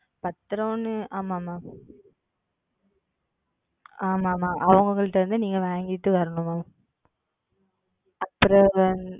பத்திரம்ன்னு ஆமா Ma'am ஆமா ஆமா அவங்ககிட்டிருந்து நீங்க வாங்கிட்டு வரணும் Ma'am. அப்புறம் வந்து